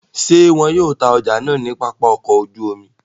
Ṣe wọn yoo ta ọja naa ni Papa ọkọ oju omi?